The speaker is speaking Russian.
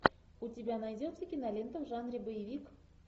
у тебя найдется кинолента в жанре боевик